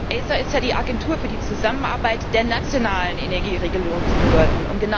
ACER ist ja die Agentur für die Zusammenarbeit der nationalen Energieregulierungsbehörden.